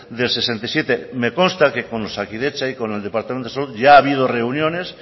del sesenta y siete me consta que con osakidetza y con el departamento de salud ya ha habido reuniones